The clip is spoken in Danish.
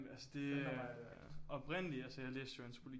Feltarbejde agtigt